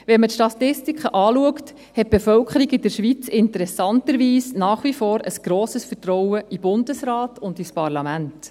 » Wenn man sich die Statistiken anschaut, hat die Bevölkerung in der Schweiz interessanterweise nach wie vor ein grosses Vertrauen in den Bundesrat und ins Parlament.